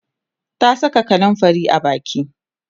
ta Saka kanumfari a Baki